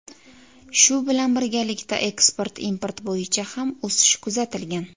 Shu bilan birgalikda, eksport-import bo‘yicha ham o‘sish kuzatilgan.